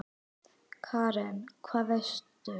Karen: Hvað veistu?